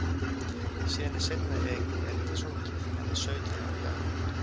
Síðan er seinna erindið sungið, Hann er sautján ára í dag.